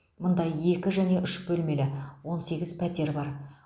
мұнда екі және үш бөлмелі он сегіз пәтер бар